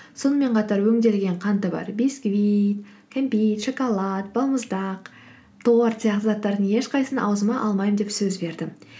сонымен қатар өңделген қанты бар бисквит кәмпит шоколад балмұздақ торт сияқты заттардың ешқайсысын аузыма алмаймын деп сөз бердім